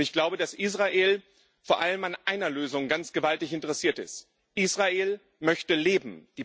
Und ich glaube, dass Israel vor allem an einer Lösung ganz gewaltig interessiert ist Israel möchte leben.